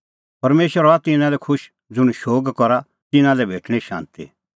परमेशर हआ तिन्नां लै खुश ज़ुंण शोग करा तिन्नां लै भेटणीं शांती